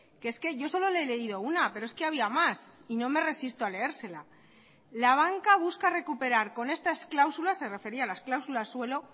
que es que yo solo le he leído una pero es que había más y no me resisto a leérsela la banca busca recuperar con estas cláusulas se refería a las cláusulas suelo